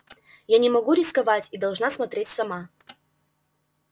я не могу рисковать и должна смотреть сама